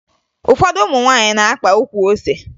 Ụfọdụ ụmụ nwaanyị na-akpa ukwu ose